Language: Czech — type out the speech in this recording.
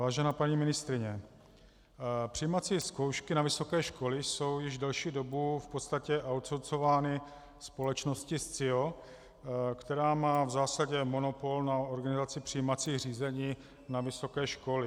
Vážená paní ministryně, přijímací zkoušky na vysoké školy jsou již delší dobu v podstatě outsourcovány společností Scio, která má v zásadě monopol na organizaci přijímacích řízení na vysoké školy.